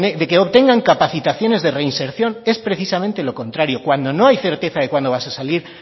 de que obtengan capacitaciones de reinserción es precisamente lo contrario cuando no hay certeza de cuándo vas a salir